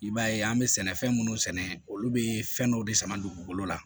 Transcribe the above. I b'a ye an bɛ sɛnɛfɛn minnu sɛnɛ olu bɛ fɛn dɔw de sama dugukolo la